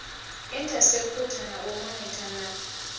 inthaseputha na u monitha na